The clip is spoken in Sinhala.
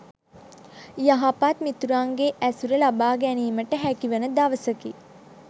යහපත් මිතුරන්ගේ ඇසුර ලබා ගැනීමට හැකිවන දවසකි.